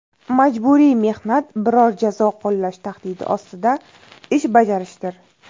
Majburiy mehnat biror jazo qo‘llash tahdidi ostida ish bajarishdir.